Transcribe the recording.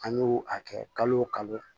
An y'u a kɛ kalo kalo